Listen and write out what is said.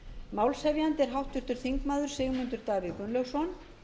málshefjandi er háttvirtur þingmaður sigmundur davíð gunnlaugsson